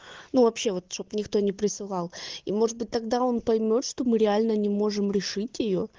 ну вообще вот чтоб никто не присылал и может быть тогда он поймёт что мы реально не можем решить её